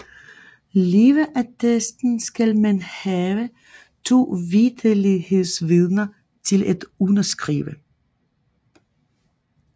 Leveattesten skal man have to vitterlighedsvidner til at underskrive